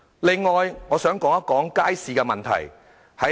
此外，我想談談街市的問題。